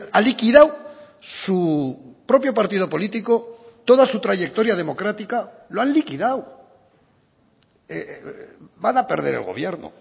ha liquidado su propio partido político toda su trayectoria democrática lo han liquidado van a perder el gobierno